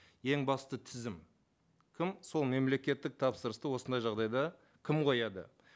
ең басты тізім кім сол мемлекеттік тапсырысты осындай жағдайда кім қояды